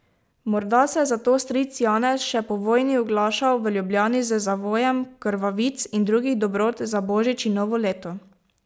Morda se je zato stric Janez še po vojni oglašal v Ljubljani z zavojem krvavic in drugih dobrot za božič in novo leto.